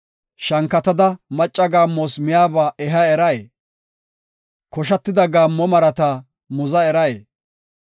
Shankatada macca gaammos miyaba eha eray? koshatida gaammo marata muza eray?